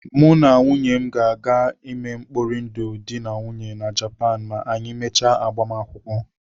Mụ na nwunye m ga-eme mkpori ndụ dị na nwunye na Japan ma anyị mechie agbamakwụkwọ.